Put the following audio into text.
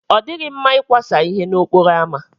Ọ dịghị mma ịkwasa ihe n'okporo ámá.